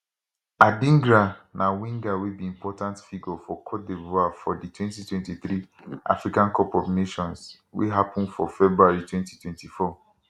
adingra na winger wey be important figure for cote divoire for di 2023 africa cup of nations wey happun for february 2024